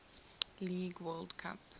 league world cup